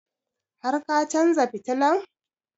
Har ka chanza fitilan?